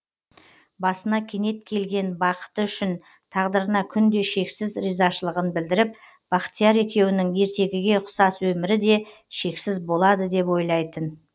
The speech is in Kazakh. басына кенет келген бақыты үшін тағдырына күнде шексіз ризашылығын білдіріп бақтияр екеуінің ертегіге ұқсас өмірі де шексіз болады деп ойлайтын